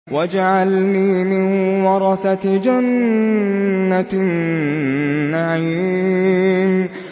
وَاجْعَلْنِي مِن وَرَثَةِ جَنَّةِ النَّعِيمِ